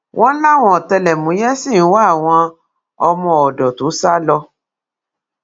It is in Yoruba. wọn láwọn ọtẹlẹmúyẹ ṣì ń wá àwọn ọmọọdọ tó sá lọ